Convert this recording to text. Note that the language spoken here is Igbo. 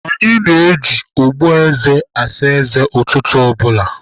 A na-eji ogboeze asa eze ụtụtụ ọ bụla.